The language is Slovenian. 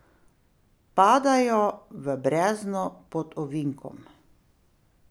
Padajo v brezno pod ovinkom.